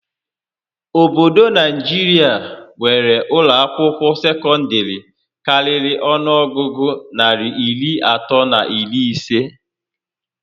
Obodo Naijiria nwéré ụlọ akwụkwọ sekọndịrị karịrị ọnụọgụgụ narị iri atọ na iri isé